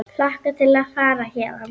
Hlakka til að fara héðan.